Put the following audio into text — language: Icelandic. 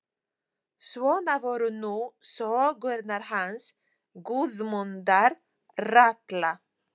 Svona voru nú sögurnar hans Guðmundar ralla.